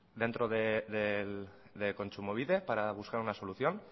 dentro de kontsumobide para buscar una solución